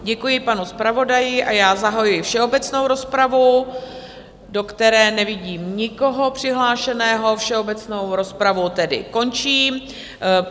Děkuji panu zpravodaji a já zahajuji všeobecnou rozpravu, do které nevidím nikoho přihlášeného, všeobecnou rozpravu tedy končím.